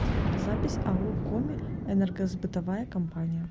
запись ао коми энергосбытовая компания